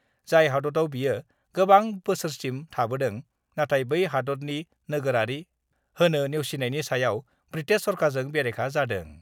जाय हादतयाव बियो गोबां बोसोरसिम थाबोदों, नाथाय बै हादतनि नोगोरारि होनो नेवसिनायनि सायाव ब्रिटेश सरकारजों बेरेखा जादों।